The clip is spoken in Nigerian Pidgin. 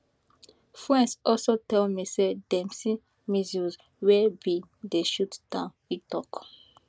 friends also tell me say dem see missiles wey bin dey shot down e tok